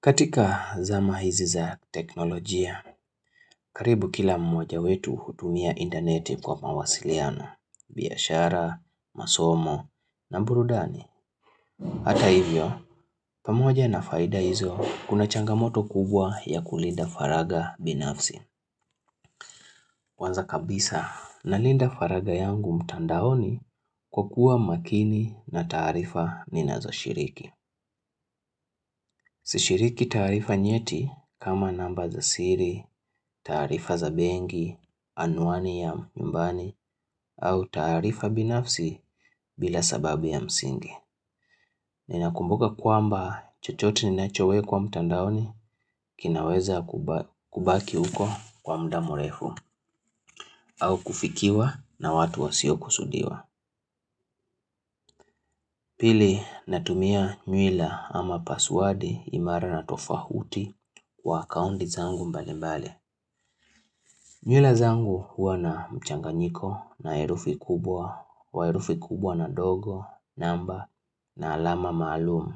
Katika zama hizi za teknolojia, karibu kila mmoja wetu hutumia interneti kwa mawasiliano, biashara, masomo, na burudani. Hata hivyo, pamoja na faida hizo, kuna changamoto kubwa ya kulinda faraga binafsi. Kwanza kabisa, na linda faraga yangu mtandaoni kwa kuwa makini na tarifa ni nazo shiriki. Sishiriki tarifa nyeti kama namba za siri, tarifa za benki, anuani ya nyumbani au tarifa binafsi bila sababi ya msingi. Ninakumbuka kwamba chochote ni nachowekwa mtandaoni kinaweza kubaki huko kwa mda mrefu au kufikiwa na watu wasio kusudiwa. Pili natumia nywila ama paswedi imara na tofahuti kwa akaunti zangu mbali mbali. Nywila zangu huwa na mchanganyiko na herufi kubwa, kwa herufi kubwa na ndogo, namba, na alama maalumu.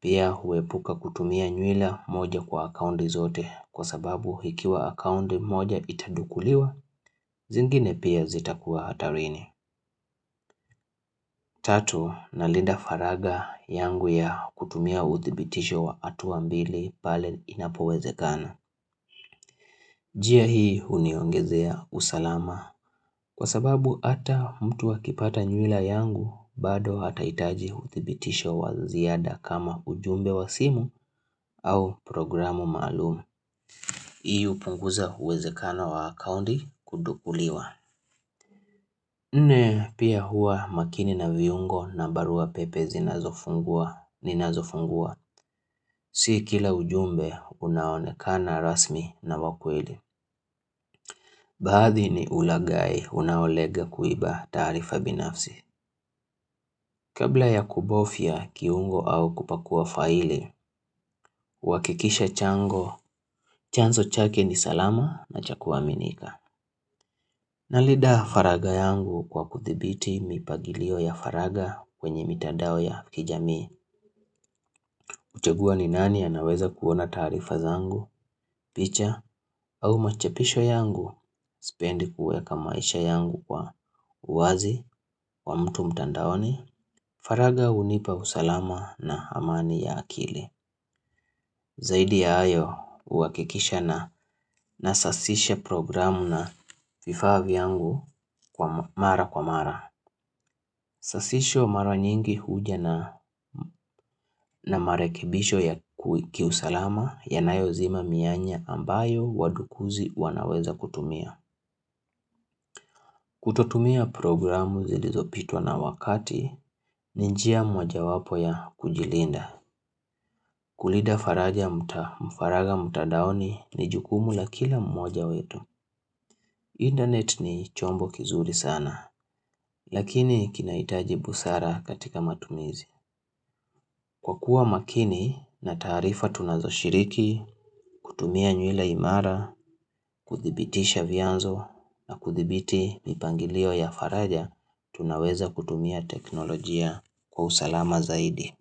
Pia huepuka kutumia nywila moja kwa akaunti zote kwa sababu ikiwa akaunti moja itadukuliwa, zingine pia zita kuwa hatarini. Tatu, na linda faraga yangu ya kutumia uthibitisho wa hatua mbili pale inapoweze kana. Njia hii huniongezea usalama. Kwa sababu ata mtu akipata nyuila yangu, bado ata hitaji uthibitisho wa ziada kama ujumbe wa simu au programu malumi. Hii upunguza uwezekano wa akaunti kudukuliwa. Ne pia hua makini na viungo na barua pepe zinazofungua ni na zofungua. Si kila ujumbe unaonekana rasmi na wakweli. Baadhi ni ulagai unaolenga kuiba tarifa binafsi. Kabla ya kubofia kiungo au kupakua faili, uhakikishe chango, chanzo chake ni salama na cha kuaminika. Nalinda faraga yangu kwa kuthibiti mipagilio ya faraga kwenye mitandao ya kijami. Kuchagua ni nani anaweza kuona tarifa zangu, picha, au machepisho yangu, sipendi kuweka maisha yangu kwa uwazi, wa mtu mtandaoni, faraga hunipa usalama na amani ya akili. Zaidi ya hayo, huwakikisha na nasasishe programu na vifa vyangu kwa mara kwa mara. Sasisho mara nyingi huja na marekebisho ya kiusalama yanayo zima mianya ambayo wadukuzi wanaweza kutumia. Kutotumia programu zilizopitwa na wakati, ni njia mojawapo ya kujilinda. Kulinda faraja faraga mtadaoni ni jukumu la kila mmoja wetu internet ni chombo kizuri sana Lakini kinahitaji busara katika matumizi Kwa kuwa makini na tarifa tunazo shiriki kutumia nywila imara kuthibitisha vianzo na kuthibiti mipangilio ya faraja Tunaweza kutumia teknolojia kwa usalama zaidi.